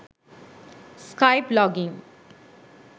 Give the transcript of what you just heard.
skype log in